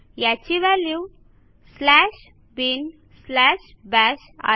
याची value slash bin slash bash आहे